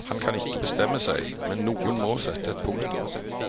Han kan ikke bestemme seg, men noen må sette et punktum.